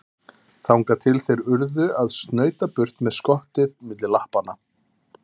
Þangað til þeir urðu að snauta burt með skottið milli lappanna.